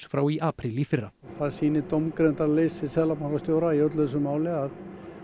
frá í apríl í fyrra það sýnir dómgreindarleysi seðlabankastjóra í öllu þessu máli að